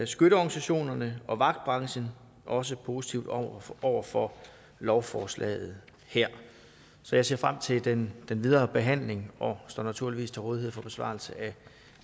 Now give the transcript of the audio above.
skytteorganisationerne og vagtbranchen også positive over over for lovforslaget her så jeg ser frem til den videre behandling og står naturligvis til rådighed for besvarelse af